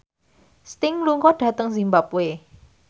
Sting lunga dhateng zimbabwe